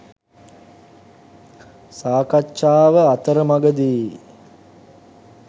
සාකච්ඡාව අතරමඟදී